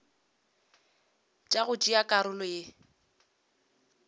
tša go tšea karolo le